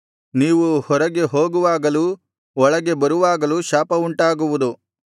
ನೀವು ಹೊರಗೆ ಹೋಗುವಾಗಲೂ ಒಳಗೆ ಬರುವಾಗಲೂ ಶಾಪ ಉಂಟಾಗುವುದು